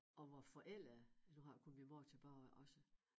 Og vor forældre nu har jeg kun min mor tilbage også